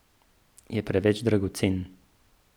Je preveč dragocen.